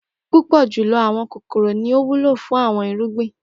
Pupọ julọ awọn kokoro ni o wulo fun awọn irugbin.